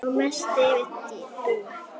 Og mest yfir Dúu.